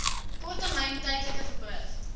korttermyn tydelike verblyf